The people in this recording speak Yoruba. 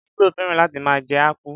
Igbo féràn láti máa jẹ akpu.